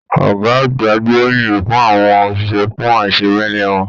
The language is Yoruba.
Ọgá àgbà gboriyin fún àwọn òṣìṣẹ́ fún aisemẹlẹ wọn.